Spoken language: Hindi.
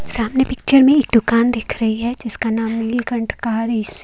सामने पिक्चर में एक दुकान दिख रही है जिसका नाम है नीलकंठ कार एस--